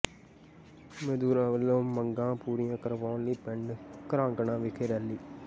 ਮਜ਼ਦੂਰਾਂ ਵਲੋਂ ਮੰਗਾਂ ਪੂਰੀਆਂ ਕਰਵਾਉਣ ਲਈ ਪਿੰਡ ਘਰਾਂਗਣਾ ਵਿਖੇ ਰੈਲੀ